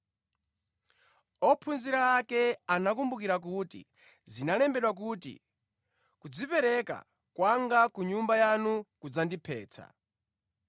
Ophunzira ake anakumbukira kuti zinalembedwa kuti, “Kudzipereka kwanga ku nyumba yanu kudzandiphetsa.”